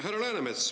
Härra Läänemets!